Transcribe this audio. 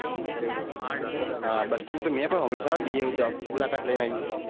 હાં bus stand મેં પન હોભ્લું છે. જાયે મુલાકાત લઇ ને આયે.